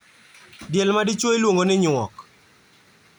Diel madichuo iluongo ni nyuok.